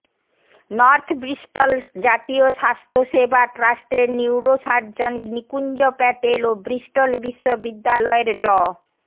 north Bristol জাতীয় স্বাস্থ্যসেবা ট্রাস্টের নিউরোসার্জন নিকুঞ্জ প্যাটেল ও ব্রিস্টল বিশ্ববিদ্যালয়ের ড